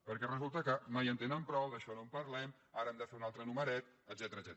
perquè resulta que mai en tenen prou d’això no en parlem ara han de fer un altre numeret etcètera